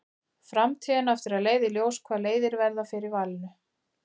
Framtíðin á eftir að leiða í ljós hvaða leiðir verða fyrir valinu.